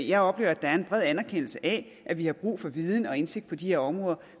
jeg oplever at der er en bred anerkendelse af at vi har brug for viden og indsigt på de her områder